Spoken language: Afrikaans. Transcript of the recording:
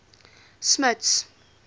smuts